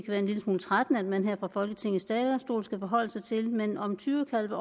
være en lille smule trættende man her fra folketingets talerstol skal forholde sig til men om tyrekalve